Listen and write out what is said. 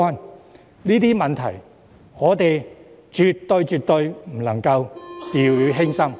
對於這些問題，我們絕對不能掉以輕心。